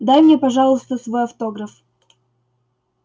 дай мне пожалуйста свой автограф